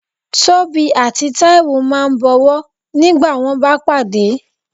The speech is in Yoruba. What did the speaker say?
Tobí atí Taíwo ma bọ̀wọ́ ngbà wón ba padé